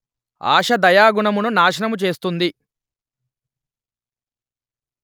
ఆశ దయాగుణమును నాశనము చేస్తుంది